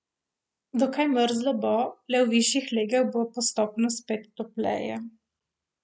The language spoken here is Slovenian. Dokaj mrzlo bo, le v višjih legah bo postopno spet topleje.